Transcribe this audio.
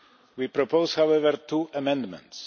We propose however two amendments.